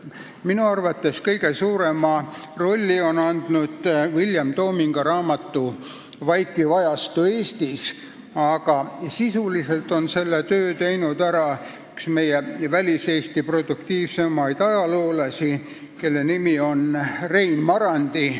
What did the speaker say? Minu arvates kõige suurema panuse on andnud William Tominga raamat "Vaikiv ajastu Eestis", aga sisuliselt on väga suure töö teinud ka üks meie väliseesti produktiivseimaid ajaloolasi, kelle nimi on Rein Marandi.